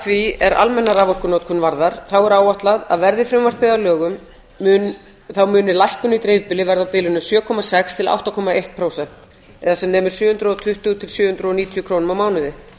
því er almenna raforkunotkun varðar er áætlað að verði frumvarpið að lögum muni lækkun í dreifbýli verða á bilinu sjö komma sex til átta komma eitt prósent eða sem nemur sjö hundruð og tuttugu til sjö hundruð og níutíu krónum á mánuði